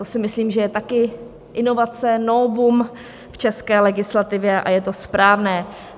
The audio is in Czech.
To si myslím, že je také inovace, novum v české legislativě, a je to správné.